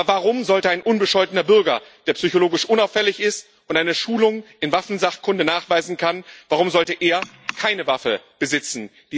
Aber warum sollte ein unbescholtener Bürger, der psychologisch unauffällig ist und eine Schulung in Waffensachkunde nachweisen kann, keine Waffe besitzen?